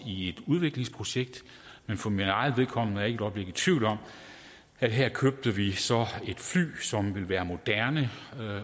i et udviklingsprojekt men for mit eget vedkommende er jeg ikke et øjeblik i tvivl om at her købte vi så et fly som vil være moderne